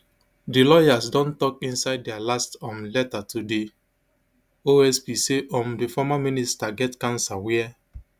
di lawyers don tok inside dia last um letter to di osp say um di former minister get cancer wia